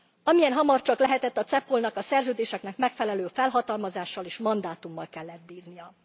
Amilyen hamar csak lehetett, a CEPOL nak a Szerződéseknek megfelelő felhatalmazással és mandátummal kellett bírnia.